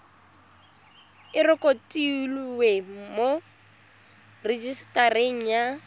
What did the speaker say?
e rekotiwe mo rejisetareng ya